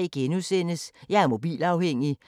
DR P2